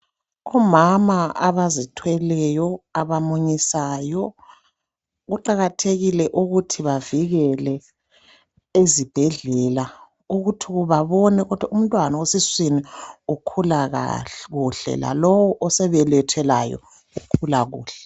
Omama abazithweleyo, abamunyisayo, kuqakathekile ukuthi bavikelwe ezibhedlela. Ukuthi babone ukuthi umntwana esiswini ukhula kuhle. Lalowo osebelethwe laye, ukhula kuhle.